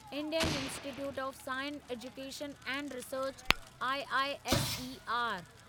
Indian institute of science education and research IISER